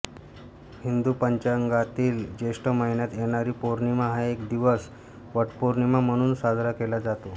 हिंदू पंचांगातील ज्येष्ठ महिन्यात येणारी पौर्णिमा हा दिवस वटपौर्णिमा म्हणून साजरा केला जातो